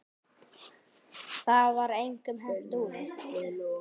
Það var engum hent út.